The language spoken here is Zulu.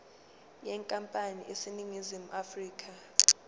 yenkampani eseningizimu afrika